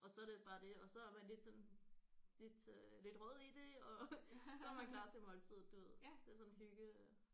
Og så er det bare det og så er man lidt sådan lidt øh lidt rød i det og så er man klar til måltidet du ved det er sådan hygge